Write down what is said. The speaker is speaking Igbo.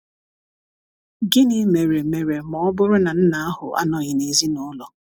Gịnị mere mere ma ọ bụrụ na nna ahụ anọghị n ezinụlọ?